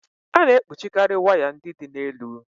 A na-ekpuchikarị waya ndị dị n'elu.